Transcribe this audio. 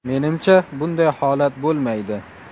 Menimcha, bunday holat bo‘lmaydi.